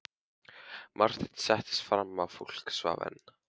Marteinn settist fram á, fólk svaf enn.